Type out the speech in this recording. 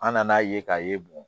An nan'a ye k'a ye bon